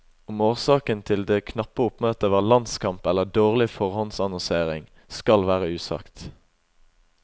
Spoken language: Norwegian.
Om årsaken til det knappe oppmøtet var landskamp eller dårlig forhåndsannonsering, skal være usagt.